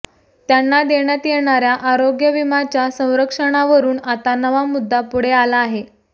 त्यांना देण्यात येणाऱ्या आरोग्य विम्याच्या संरक्षणावरून आता नवा मुद्दा पुढे आला आहे